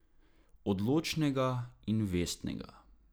Odločnega in vestnega.